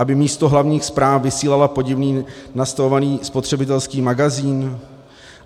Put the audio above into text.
Aby místo hlavních zpráv vysílala podivně nastavovaný spotřebitelský magazín?